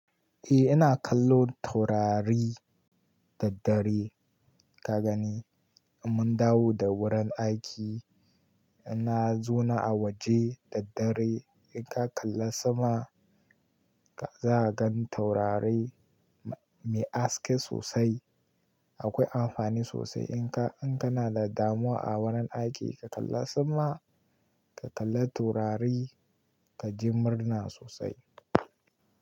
Eh ina kallon taurari daddare. Ka gani, in mun dawo da wurin aiki ina zauna a waje daddare. In ka kalla sama ka za ka gan taurari me haske sosai. Akwai amfani sosai in ka, in kana da damuwa a wurin aiki ka kalla sama, ka kalla taurari ka ji murna sosai.